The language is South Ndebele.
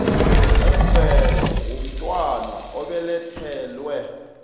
wemvelo womntwana obelethelwe